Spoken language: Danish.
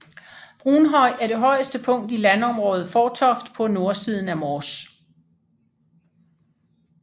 Brunhøj er det højeste punkt i landområdet Fårtoft på nordsiden af Mors